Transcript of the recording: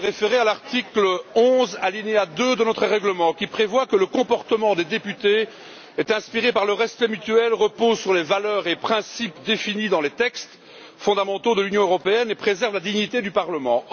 Madame la Présidente, je voudrais me référer à l'article 11, paragraphe 2, de notre règlement qui prévoit que le comportement des députés est inspiré par le respect mutuel, repose sur les valeurs et principes définis dans les textes fondamentaux de l'Union européenne et préserve la dignité du Parlement.